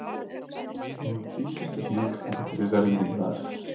Snúumst hring eftir hring þangað til við verðum ringlaðar.